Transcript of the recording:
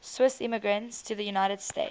swiss immigrants to the united states